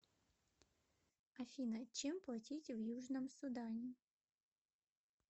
афина чем платить в южном судане